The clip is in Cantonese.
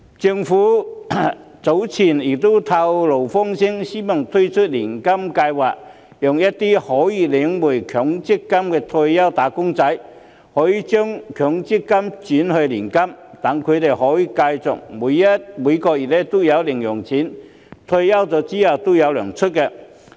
政府早前曾透露風聲，希望推出年金計劃，讓一些可以領回強積金的退休"打工仔"，將強積金轉為年金，讓他們可以繼續每個月有零用錢，退休後仍然"有糧出"。